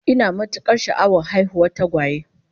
Ina matukar sha'awar haihuwar tagwaye